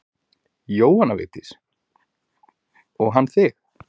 Jóhanna Vigdís: Og hann þig?